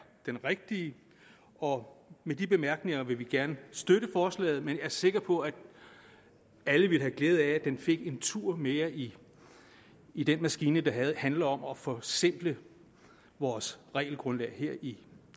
den rigtige og med de bemærkninger vil vi gerne støtte forslaget men jeg er sikker på at alle ville have glæde af at det fik en tur mere i i den maskine der handler om at forsimple vores regelgrundlag her i